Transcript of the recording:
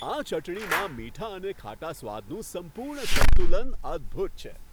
આ ચટણીમાં મીઠા અને ખાટા સ્વાદનું સંપૂર્ણ સંતુલન અદ્ભૂત છે.